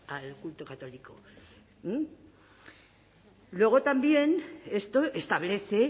al culto católico luego también esto establece